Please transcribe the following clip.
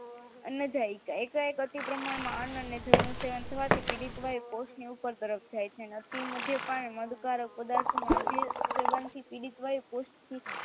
અન્ન્જાયીકા એકાએક અતિ પ્રમાણમાં અન્ન અને જળનું સેવન થવાથી પીડિત વાયુ કોષને ઉપર તરફ જાય છે અને અતિ મધ્ય પાન અને મતકારક પદાર્થો અતિ સેવન થી પીડિત વાયુ કોસ્ટથી